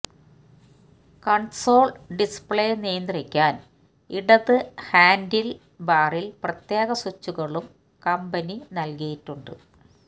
console display നിയന്ത്രിക്കാന് ഇടത് ഹാന്ഡില്ബാറില് പ്രത്യേക സ്വിച്ചുകളും കമ്പനി നല്കിയിട്ടുണ്ട്